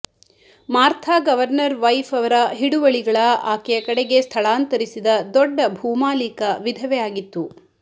ಮಾರ್ಥಾ governor wife ಅವರ ಹಿಡುವಳಿಗಳ ಆಕೆಯ ಕಡೆಗೆ ಸ್ಥಳಾಂತರಿಸಿದ ದೊಡ್ಡ ಭೂಮಾಲೀಕ ವಿಧವೆ ಆಗಿತ್ತು